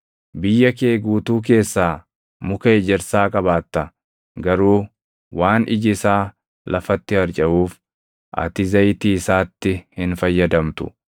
Biyya kee guutuu keessaa muka ejersaa qabaatta; garuu waan iji isaa lafatti harcaʼuuf ati zayitii isaatti hin fayyadamtu.